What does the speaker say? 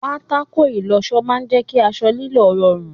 Pátákó ìlọṣọ máa jẹ kí aṣọ lílọ̀ rọrùn.